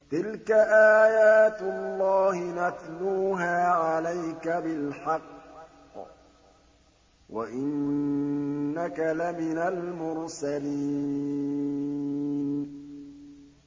تِلْكَ آيَاتُ اللَّهِ نَتْلُوهَا عَلَيْكَ بِالْحَقِّ ۚ وَإِنَّكَ لَمِنَ الْمُرْسَلِينَ